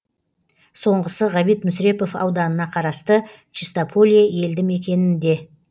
соңғысы ғабит мүсірепов ауданына қарасты чистополье елді мекенінде